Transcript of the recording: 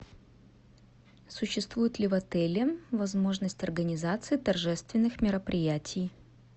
существует ли в отеле возможность организации торжественных мероприятий